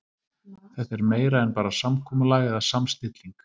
Þetta er meira en bara samkomulag eða samstilling.